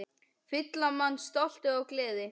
Fylla mann stolti og gleði.